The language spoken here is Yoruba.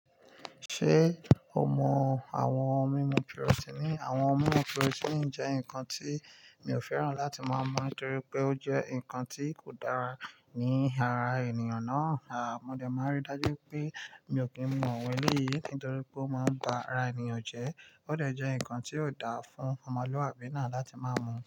Ṣé o mọ àwọn ohun mímu pirotini? Àwọn ohun mímu pirotini jẹ́ nǹkan tí mi ò fẹ́ràn láti máa mu á, nitorí pé ó jẹ́ nǹkan tí kò dára ní ara ènìyàn náà. À, mo dẹ̀ máa rí dájú pé mi ò kí ń mu àwọn ẹlẹ́yìí yìí, torí pé ó máa ń ba ara ènìyàn jẹ́. Ó dà jẹ́ nǹkan tí ò dáa fún ọmọlúwàbí náà láti máa mu.